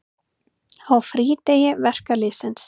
Á frídegi verkalýðsins.